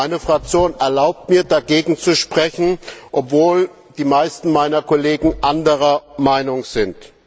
Meine Fraktion erlaubt mir, dagegen zu sprechen, obwohl die meisten meiner Kollegen anderer Meinung sind.